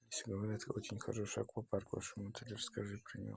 все говорят очень хороший аквапарк в вашем отеле расскажи про него